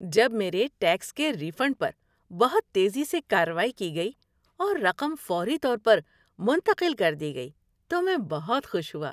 جب میرے ٹیکس کے ری فنڈ پر بہت تیزی سے کارروائی کی گئی اور رقم فوری طور پر منتقل کر دی گئی تو میں بہت خوش ہوا۔